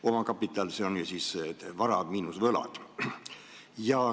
Omakapital on vara miinus võlad.